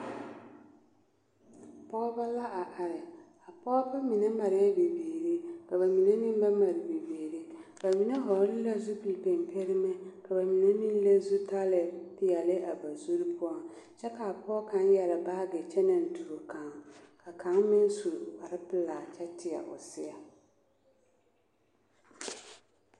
Pɔgebɔ la a are a pɔgebɔ mine marɛɛ la bibiiri ka ba mine meŋ ba mare bibiiri ba mine hɔɔli la zupil pimpirimɛ ka ba mine meŋ leŋ zutalii peɛli a ba zuri poɔŋ kyɛ kaa pɔge kaŋ yɛre baage kyɛ naŋ tuo ka kaŋ meŋ su kparrepelaa kyɛ teɛ o seɛŋ.